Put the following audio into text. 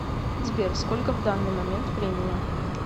сбер сколько в данный момент времени